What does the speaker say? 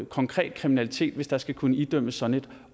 konkret kvalitet hvis der skal kunne idømmes sådan et